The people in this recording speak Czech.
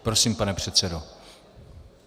Prosím, pane předsedo.